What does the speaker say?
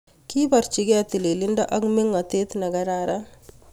Kiborchikei tililindo ak mengotet ne kararan